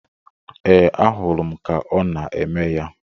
Ee, ahụrụ m ka ọ na-eme ya.